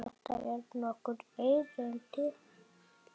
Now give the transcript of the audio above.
Þetta voru nokkur erindi.